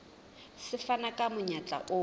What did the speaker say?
se fana ka monyetla o